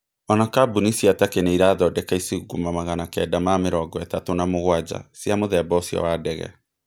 ona kambuni cia Takĩ nĩ irathondeka icunguma magana kenda na mĩrongo-ĩtatũ na mũgwanja cia mũthemba ũcio wa ndege.